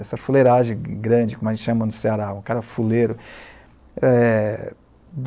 Essa fuleiragem grande, como a gente chama no Ceará, um cara fuleiro. Eh...